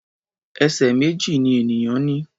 Ẹsẹ̀ méjì ni ènìyàn ní.